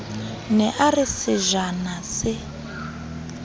ne a re sejana se